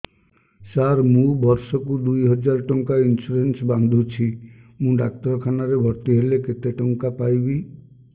ସାର ମୁ ବର୍ଷ କୁ ଦୁଇ ହଜାର ଟଙ୍କା ଇନ୍ସୁରେନ୍ସ ବାନ୍ଧୁଛି ମୁ ଡାକ୍ତରଖାନା ରେ ଭର୍ତ୍ତିହେଲେ କେତେଟଙ୍କା ପାଇବି